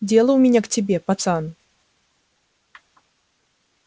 дело у меня к тебе пацан